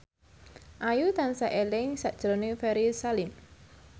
Ayu tansah eling sakjroning Ferry Salim